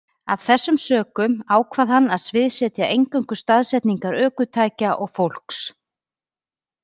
Af þessum sökum ákvað hann að sviðsetja eingöngu staðsetningar ökutækja og fólks.